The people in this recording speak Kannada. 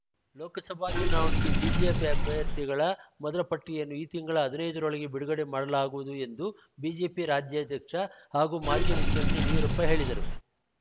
ಲೋಕಸಭಾ ಚುನಾವಣೆಗೆ ಬಿಜೆಪಿ ಅಭ್ಯರ್ಥಿಗಳ ಮೊದಲ ಪಟ್ಟಿಯನ್ನು ಈ ತಿಂಗಳ ಹದಿನೈದರೊಳಗೆ ಬಿಡುಗಡೆ ಮಾಡಲಾಗುವುದು ಎಂದು ಬಿಜೆಪಿ ರಾಜ್ಯಾಧ್ಯಕ್ಷ ಹಾಗೂ ಮಾಜಿ ಮುಖ್ಯಮಂತ್ರಿ ಯಡಿಯೂರಪ್ಪ ಹೇಳಿದರು